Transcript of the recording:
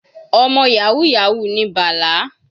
Ọmọ yahoo yahoo ni Bala.